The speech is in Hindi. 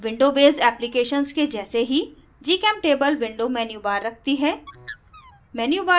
window बेस्ड applications के जैसे ही gchemtable window menubar रखती है